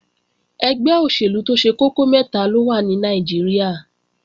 Ẹgbẹ́ òṣèlú tó ṣe kókó mẹ́ta ló wà ní Nàìjíríà